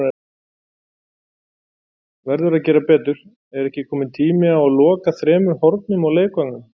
Verður að gera betur: Er ekki kominn tími á að loka þremur hornum á leikvangnum?